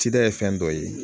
Cida ye fɛn dɔ ye